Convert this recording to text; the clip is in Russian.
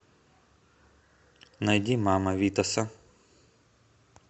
найди мама витаса